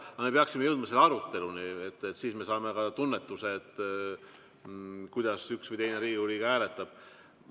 Aga me peaksime jõudma selle aruteluni, siis me saame ka tunnetuse, kuidas üks või teine Riigikogu liige hääletab.